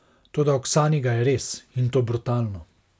Toda Oksani ga je res, in to brutalno.